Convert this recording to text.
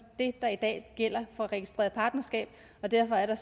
det der i dag gælder for registreret partnerskab og derfor er der